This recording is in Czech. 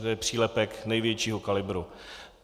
Toto je přílepek největšího kalibru.